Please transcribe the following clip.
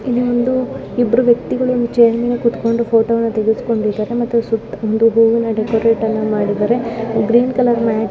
ಇದು ಒಂದು ಇಬ್ಬರು ವ್ಯಕ್ತಿಗಳು ಚೇರ್ ಮೇಲೆ ಕುತ್ಕೊಂಡು ಫೋಟೋ ಗಳನ್ನು ತೆಗೆಸ್ಕೊಂಡಿದರೆ ಮತ್ತೆ ಹೂವಿನ ಡೆಕೋರೇಟ್ ಅನ್ನು ಮಾಡಿದ್ದಾರೆ. Green colour mat. --